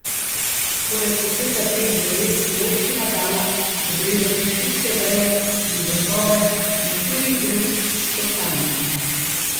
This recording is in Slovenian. Poleg poseka dveh dreves je občina dala obrezati šibke veje in vrhove na štirih drugih kostanjih.